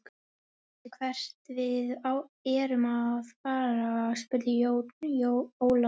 Veistu hvert við erum að fara, spurði Jón Ólafur.